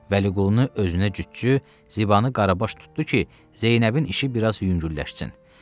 Vəliqulunu özünə cütcü, Zibanı Qarabaş tutdu ki, Zeynəbin işi biraz yüngülləşsin.